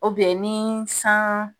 ni san